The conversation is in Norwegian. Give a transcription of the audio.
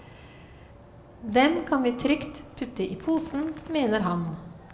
Dem kan vi trygt putte i posen, mener han.